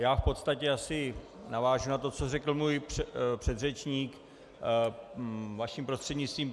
Já v podstatě asi navážu na to, co řekl můj předřečník, vaším prostřednictvím.